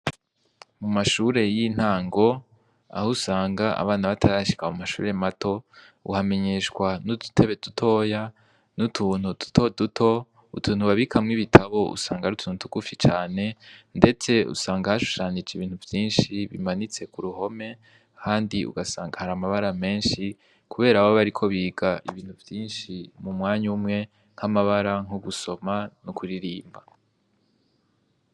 Mu mashure y'intango aho usanga abana batarashika mu mashure mato, uhamenyeshwa n'udutebe dutoya, n'utuntu duto duto, utuntu babikamwo ibitabo usanga ari utuntu tugufi cane, ndetse usanga hashushanije ibintu vyinshi bimanitse ku ruhome, ahandi ugasanga hari amabara menshi, kubera baba bariko biga ibintu vyinshi mu mwanya umwe, nk'amabara, nko gusoma, n'ukuririmba.